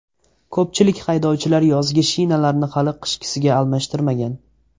Ko‘pchilik haydovchilar yozgi shinalarni hali qishkisiga almashtirmagan.